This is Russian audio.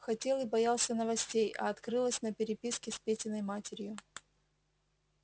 хотел и боялся новостей а открылось на переписке с петиной матерью